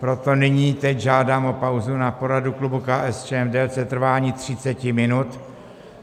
Proto nyní teď žádám o pauzu na poradu klubu KSČM v délce trvání 30 minut.